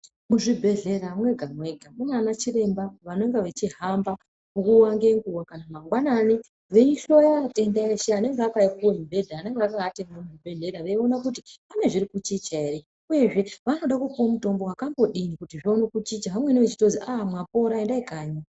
Muzvibhedhlera mwega mwega mune ana chiremba vanenge vachihamba nguwa ngenguwa kana mangwanani veihloya vatengesi vanenge vakaita mibhedha vanenge vari muzvibhedhlera vachida kuona apana chachinja here uyezve vanoda kupuwa mutombo wakambodini vamweni vachinzi aa mapora endai kanyi.